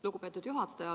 Lugupeetud juhataja!